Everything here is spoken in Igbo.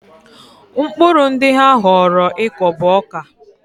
Mkpụrụ ndị ha họọrọ ịkọ bụ ọka.